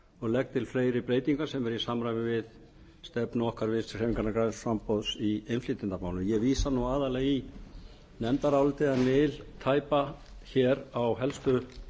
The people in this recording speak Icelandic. og legg til fleiri breytingar sem eru í samræmi við stefnu okkar vinstri hreyfingarinnar græns framboðs í innflytjendamálum ég vísa aðallega í nefnfdarálitið en vil tæpa hér á helstu